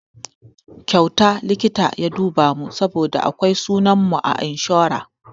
Kyauta likita ya duba mu saboda akwai sunan mu a inshora.